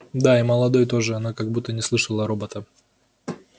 да и молодой тоже она как будто не слышала робота